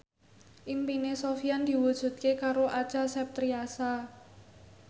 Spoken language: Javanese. impine Sofyan diwujudke karo Acha Septriasa